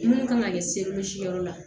Mun kan ka kɛ yɔrɔ la